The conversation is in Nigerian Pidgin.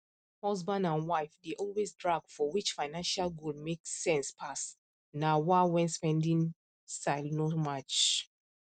husband and wife dey always drag for which financial goal make sense pass na wah when spending style no match